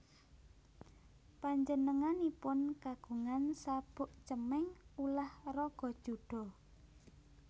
Panjenenganipun kagungan sabuk cemeng ulah raga judo